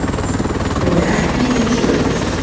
Ég er ekki til sölu